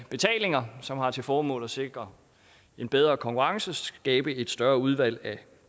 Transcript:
betalinger som har til formål at sikre en bedre konkurrence skabe et større udvalg af